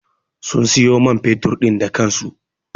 Sun siyo man fetur din da kansu.